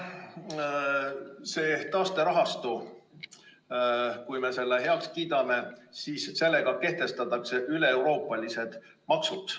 Kui me selle taasterahastu heaks kiidame, siis sellega kehtestatakse üleeuroopalised maksud.